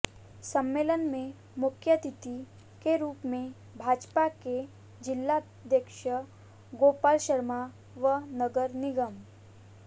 सम्मेलन में मुख्यातिथि के रूप में भाजपा के जिलाध्यक्ष गोपाल शर्मा व नगर निगम